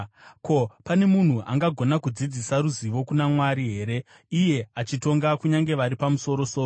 “Ko, pane munhu angagona kudzidzisa ruzivo kuna Mwari here, iye achitonga kunyange vari pamusoro-soro?